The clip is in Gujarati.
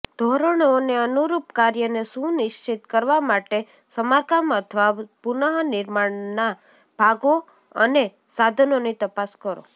ધોરણોને અનુરૂપ કાર્યને સુનિશ્ચિત કરવા માટે સમારકામ અથવા પુનઃનિર્માણના ભાગો અને સાધનોની તપાસ કરો